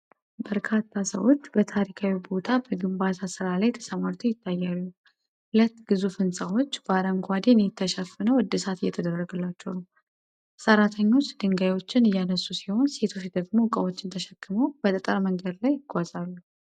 በርካታ ሰዎች በታሪካዊ ቦታ በግንባታ ሥራ ላይ ተሰማርተው ይታያሉ። ሁለት ግዙፍ ህንጻዎች በአረንጓዴ ኔት ተሸፍነው እድሳት እየተደረገላቸው ነው። ሰራተኞች ድንጋዮችን እያነሱ ሲሆን፣ ሴቶች ደግሞ እቃዎችን ተሸክመው በጠጠር መንገድ ላይ ይጓዛሉ።